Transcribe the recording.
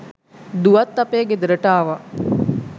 දුවත් අපේ ගෙදරට ආවා